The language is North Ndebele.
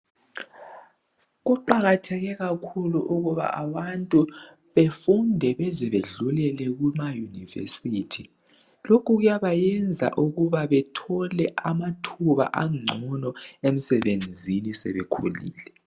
Kuqakatheke kakhulu ukuba abantu befunde beze bedlulele kumauniversity. Lokhu kuyabayenza ukuba bethole amathuba angcono emsebenzini sebekhulile